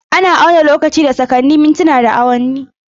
Ana auna lokaci da sakanni, mintina, da awowi.